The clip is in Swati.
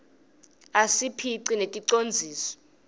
asiphhq neticondziso